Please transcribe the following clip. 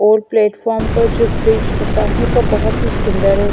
और प्लेटफार्म पर जो ब्रिज होता है वो बहुत ही सुंदर है।